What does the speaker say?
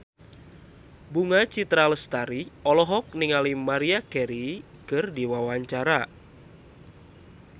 Bunga Citra Lestari olohok ningali Maria Carey keur diwawancara